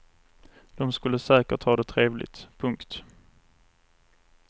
De skulle säkert ha det trevligt. punkt